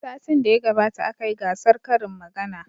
Satin da ya gabata aka yi gasar karin magana.